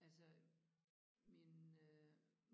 Altså min øh